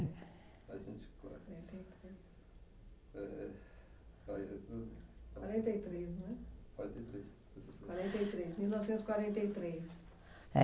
Mais vinte e quatro. Quarenta e três. Quarenta e três, não é? Quarenta e três. Quarenta e três, mil novecentos e quarenta e três. Eh